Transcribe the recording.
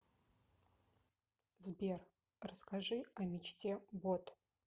сбер расскажи о мечте бот